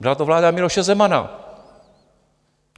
Byla to vláda Miloše Zemana.